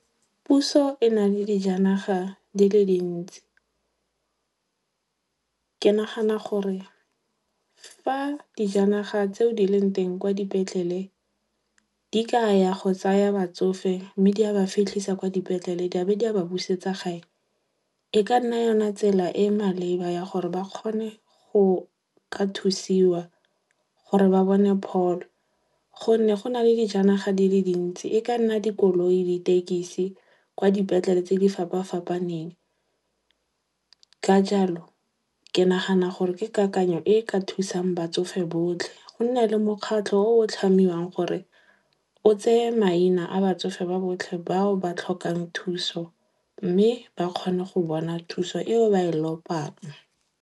Puso e na le dijanaga di le dintsi. Ke nagana gore fa dijanaga tseo di leng teng kwa dipetlele di ka ya go tsaya batsofe mme di a ba fitlhisa kwa dipetlele di a be di a ba busetsa gae, e ka nna yona tsela e e maleba ya gore ba kgone go ka thusiwa gore ba bone pholo. Gonne go na le dijanaga di le dintsi. E ka nna dikoloi, ditekisi kwa dipetlele tse di fapa-fapaneng. Ka jalo, ke nagana gore ke kakanyo e ka thusang batsofe botlhe go nna le mokgatlho o o tlhamiwang gore o tseye maina a batsofe ba botlhe bao ba tlhokang thuso mme ba kgone go bona thuso eo ba e lopang.